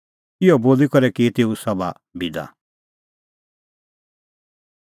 इहअ बोली करै की तेऊ सभा बिदा